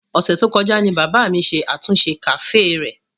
Ọ̀sẹ̀ tó kọjá ni bàbá mi ṣe àtúnṣe kàféè rẹ̀.